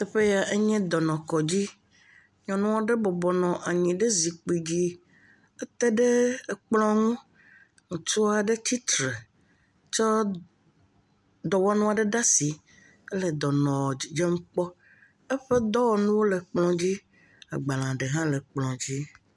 Teƒe yɛ enye dɔnɔkɔdzi. nyɔnu aɖe bɔbɔ nɔ anyi ɖe zikpidzi. Eté ɖe ekplɔ̃ ŋu. Ŋutsu aɖe tsi tre tsɔ dɔwɔnu ɖe asi henɔ dɔnɔ dzidzem kpɔm. eƒe dɔwɔnuwo le kplɔ̃dzi. agbalẽ aɖe hã le kplɔ̃dzi.